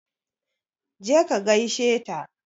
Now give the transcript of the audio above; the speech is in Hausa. Je ka gaishe ta!